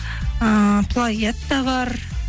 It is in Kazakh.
ыыы плагиат та бар